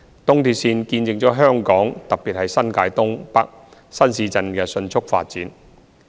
東鐵線見證了香港，特別是新界東、北新市鎮的迅速發展。